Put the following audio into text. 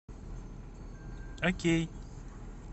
окей